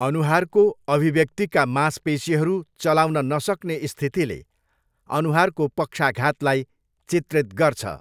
अनुहारको अभिव्यक्तिका मांसपेसीहरू चलाउन नसक्ने स्थितिले अनुहारको पक्षाघातलाई चित्रित गर्छ।